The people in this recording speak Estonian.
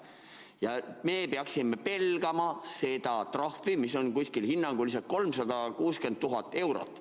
Ja et me peaksime pelgama seda trahvi, mis on kuskil hinnanguliselt 360 000 eurot.